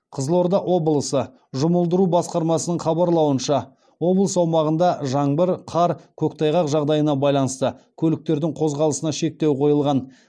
қызылорда облысы жұмылдыру басқармасының хабарлауынша облыс аумағында жаңбыр қар көктайғақ жағдайына байланысты көліктердің қозғалысына шектеу қойылған